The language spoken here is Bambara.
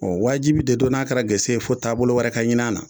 Ɔ wajibi de don n'a kɛra gese fo taabolo wɛrɛ ka ɲini a na